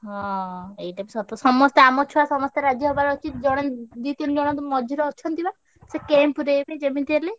ହଁ ଏଇଟା ବି ସତ ସମସ୍ତେ ଆମ ଛୁଆ ସମସ୍ତେ ରାଜି ହବାର ଅଛି। ଜଣେ ଦି ତିନି ଜଣ ମଝିରେ ଅଛନ୍ତି ବା ସେ କେଁ ପୁରେଇବେ ଯେମିତି ହେଲେ।